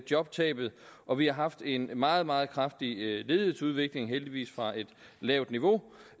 jobtabet og vi har haft en meget meget kraftig ledighedsudvikling heldigvis fra et lavt niveau